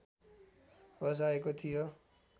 बसाएको थियो